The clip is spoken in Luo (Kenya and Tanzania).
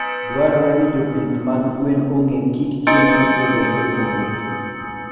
Dwarore ni jopith mag gwen ong'e kit chiemo mopogore opogore.